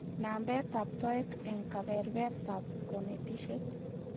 Nambetab toek eng kebebertaab konetishet